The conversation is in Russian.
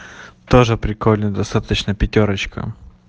тоже прикольно достаточно пятёрочка